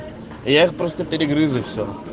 я их просто перегрыз и все